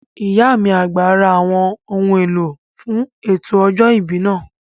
Ìyá mi àgbà ra àwọn ohun èlò fún ètò ọjọ́ ìbí náà